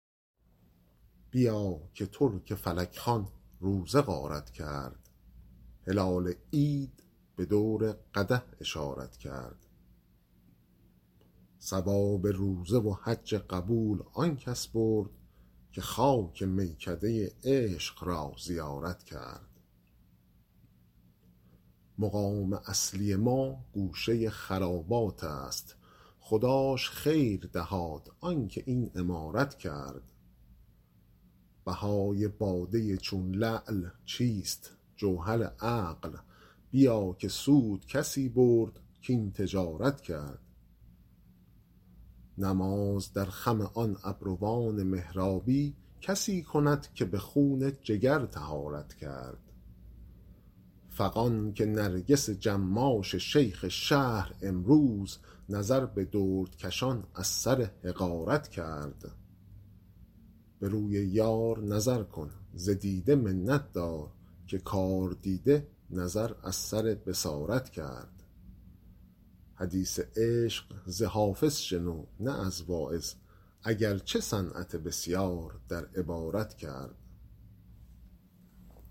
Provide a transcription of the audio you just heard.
بیا که ترک فلک خوان روزه غارت کرد هلال عید به دور قدح اشارت کرد ثواب روزه و حج قبول آن کس برد که خاک میکده عشق را زیارت کرد مقام اصلی ما گوشه خرابات است خداش خیر دهاد آن که این عمارت کرد بهای باده چون لعل چیست جوهر عقل بیا که سود کسی برد کاین تجارت کرد نماز در خم آن ابروان محرابی کسی کند که به خون جگر طهارت کرد فغان که نرگس جماش شیخ شهر امروز نظر به دردکشان از سر حقارت کرد به روی یار نظر کن ز دیده منت دار که کاردیده نظر از سر بصارت کرد حدیث عشق ز حافظ شنو نه از واعظ اگر چه صنعت بسیار در عبارت کرد